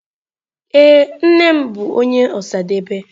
Ee, nne m bu onye Osadebe.